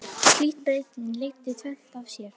Slík breyting leiddi tvennt af sér.